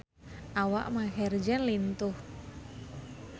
Awak Maher Zein lintuh